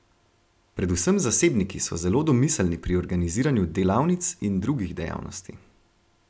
Predvsem zasebniki so zelo domiselni pri organiziranju delavnic in drugih dejavnosti.